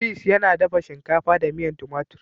"peace" yana dafa shinkafa da miyan tumatur.